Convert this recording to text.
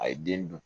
A ye den dun